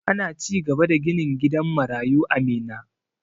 Ana cigaba da ginin gidan marayu a Minna.